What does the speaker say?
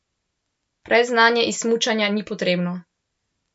Predznanje iz smučanja ni potrebno.